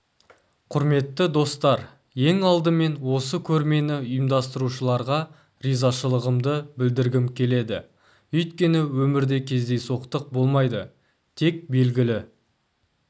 құрметті достар ең алдымен осы көрмені ұйымдастырушыларға ризашылығымды білдіргім келеді өйткені өмірде кездейсоқтық болмайды тек белгілі